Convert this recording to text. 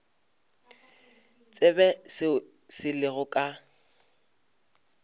tsebe seo se lego ka